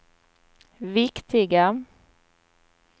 viktiga